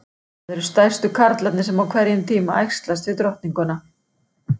Það eru stærstu karlarnir sem á hverjum tíma æxlast við drottninguna.